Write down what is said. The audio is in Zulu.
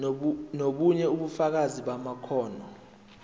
nobunye ubufakazi bamakhono